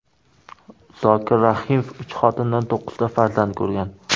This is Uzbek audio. Zokir Rahimov uch xotinidan to‘qqizta farzand ko‘rgan.